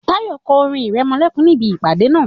Tayọ kọ orin-ìrẹmọlẹ́kún níbí ìpàdé náà.